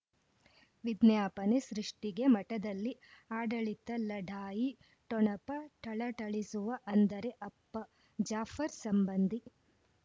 ವಿಜ್ಞಾಪನೆ ಸೃಷ್ಟಿಗೆ ಮಠದಲ್ಲಿ ಆಡಳಿತ ಲಢಾಯಿ ಠೊಣಪ ಥಳಥಳಿಸುವ ಅಂದರೆ ಅಪ್ಪ ಜಾಫರ್ ಸಂಬಂಧಿ